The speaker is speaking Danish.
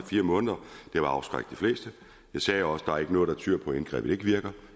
fire måneder vil afskrække de fleste jeg sagde også der er noget der tyder på at indgrebet ikke virker